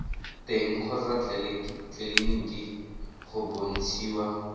teng kgotsa tleleniki go bontshiwa